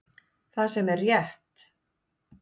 Það sem er rétt